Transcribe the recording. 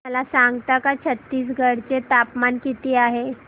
मला सांगता का छत्तीसगढ चे तापमान किती आहे